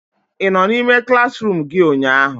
Ị nọ n'ime klaasịruum gị ụnyaahụ?